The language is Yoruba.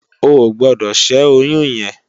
Óogbòdò ṣè óyùn yèn